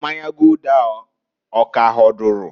Mmanya Gulder ahụ ọ k'ahọdụrụ?